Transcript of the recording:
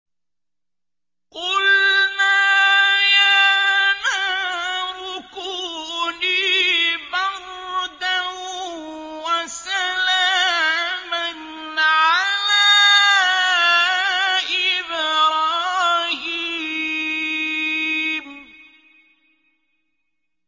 قُلْنَا يَا نَارُ كُونِي بَرْدًا وَسَلَامًا عَلَىٰ إِبْرَاهِيمَ